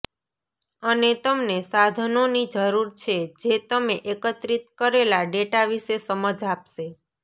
અને તમને સાધનોની જરૂર છે જે તમે એકત્રિત કરેલા ડેટા વિશે સમજ આપશે